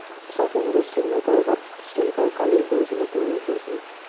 সৱ সময়তে seen নকৰে but skip কৰে, কালিও কৰিছিলে পৰহিও কৰিছিলে।